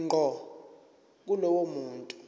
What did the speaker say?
ngqo kulowo muntu